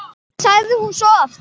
sagði hún svo oft.